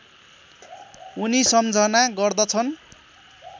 उनी सम्झना गर्दछन्